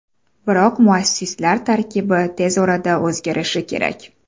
Biroq muassislar tarkibi tez orada o‘zgarishi kerak.